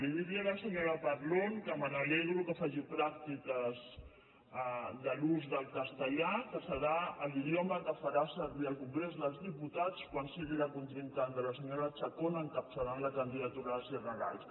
i dir a la senyora parlon que m’alegro que faci pràctiques de l’ús del castellà que serà l’idioma que farà servir al congrés dels diputats quan sigui la contrincant de la senyora chacón encapçalant la candidatura a les generals